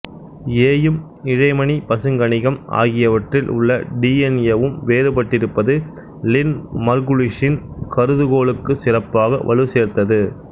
ஏயும் இழைமணி பசுங்கனிகம் ஆகியவற்றில் உள்ள டி என் ஏவும் வேறுபட்டிருப்பது லின் மர்குலிஸின் கருதுகோளுக்கு சிறப்பாக வலு சேர்த்தது